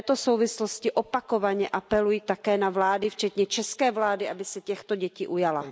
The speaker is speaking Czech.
V této souvislosti opakovaně apeluji také na vlády, včetně české vlády, aby se těchto dětí ujala.